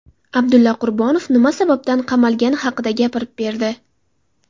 Abdulla Qurbonov nima sababdan qamalgani haqida gapirib berdi .